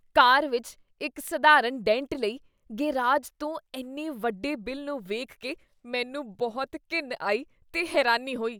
ਕਾਰ ਵਿੱਚ ਇੱਕ ਸਧਾਰਨ ਡੈਂਟ ਲਈ ਗ਼ੈਰਾਜ ਤੋਂ ਇੰਨੇ ਵੱਡੇ ਬਿੱਲ ਨੂੰ ਵੇਖ ਕੇ ਮੈਨੂੰ ਬਹੁਤ ਘਿਣ ਆਈ ਤੇ ਹੈਰਾਨੀ ਹੋਈ I